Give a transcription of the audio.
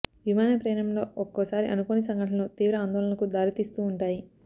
విమాన ప్రయాణంలో ఒక్కోసారి అనుకోని సంఘటనలు తీవ్ర ఆందోళనకు దారి తీస్తూ వుంటాయి